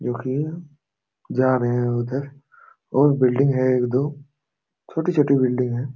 जो कि जा रहे है उधर और बिल्डिंग है एक दो छोटी छोटी बिल्डिंग है।